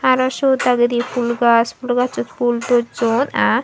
aro siot dagedi phul gaj phul gacchot phul docchon ah.